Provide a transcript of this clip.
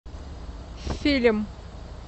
фильм